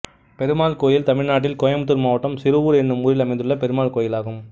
பெருமாள் கோயில் தமிழ்நாட்டில் கோயம்புத்தூர் மாவட்டம் சிறுவூர் என்னும் ஊரில் அமைந்துள்ள பெருமாள் கோயிலாகும்